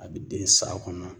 A bɛ den san kɔnɔ.